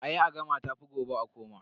A yi a gama tafi gobe a koma.